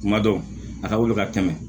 Kuma dɔw a ka wuli ka tɛmɛ